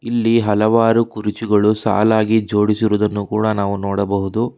ಇಲ್ಲಿ ಹಲವಾರು ಕುರ್ಚಿಗಳು ಸಾಲಾಗಿ ಜೋಡಿಸಿರುವುದನ್ನು ಕೂಡ ನಾವು ನೋಡಬಹುದು.